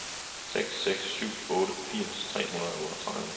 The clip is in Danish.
seks seks syv otte firs tre hundrede og otteogtredive